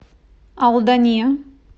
алдане